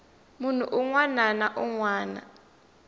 munhu un wana na un